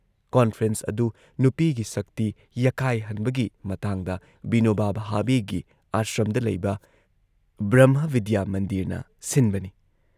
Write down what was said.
Conference ꯑꯗꯨꯨ ꯅꯨꯄꯤꯒꯤ ꯁꯛꯇꯤ ꯌꯥꯀꯥꯏꯍꯟꯕꯒꯤ ꯃꯇꯥꯡꯗ ꯕꯤꯅꯣꯕꯥ ꯚꯥꯕꯦꯒꯤ ꯑꯥꯁ꯭ꯔꯝꯗ ꯂꯩꯕ ꯕ꯭ꯔꯝꯍꯕꯤꯗ꯭ꯌꯥ ꯃꯟꯗꯤꯔꯅ ꯁꯤꯟꯕꯅꯤ ꯫